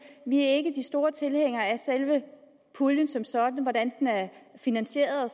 vi er ikke de store tilhængere af selve puljen som sådan eller af hvordan den er finansieret